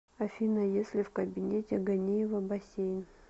афина есть ли в кабинете ганеева бассейн